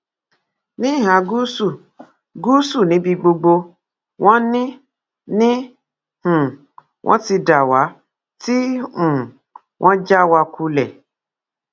ní ìhà gúúsù gúúsù níbi gbogbo wọn ni ni um wọn ti dá wa tí um wọn já wa kulẹ